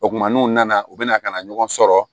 O kumana n'u nana u bɛna ka na ɲɔgɔn sɔrɔ